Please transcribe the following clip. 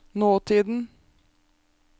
nåtiden